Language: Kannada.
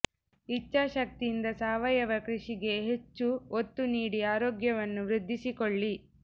ಇಚ್ಛಾಶಕ್ತಿ ಯಿಂದ ಸಾವಯವ ಕ್ರಷಿಗೆ ಹೆಚ್ಚು ಒತ್ತು ನೀಡಿ ಆರೋಗ್ಯ ವನ್ನು ವ್ರದ್ದಿಸಿಕೊಳ್ಳಿ